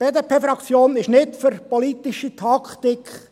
Die BDP-Fraktion ist nicht für politische Taktik.